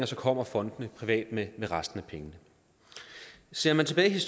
så kommer fondene privat med resten af pengene ser man tilbage